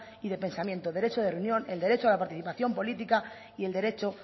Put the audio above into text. y de pensamiento derecho de reunión el derecho a la participación política y el derecho